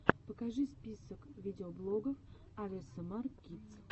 покажи список видеоблогов авесэмар кидс